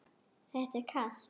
Það er kalt.